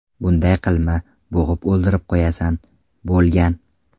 Bunday qilma, bo‘g‘ib o‘ldirib qo‘yasan”, bo‘lgan.